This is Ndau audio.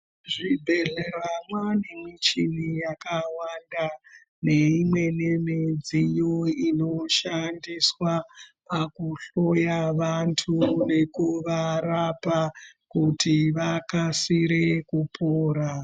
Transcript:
Zvibhedhleya zvaane muchini yakawanda neimweni midziyo inoshandiswa pakuhloya vantu nekuvarapa kuti vakasire kupora.